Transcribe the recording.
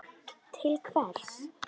Til hvers?